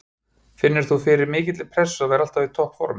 Finnur þú fyrir mikilli pressu að vera alltaf í toppformi?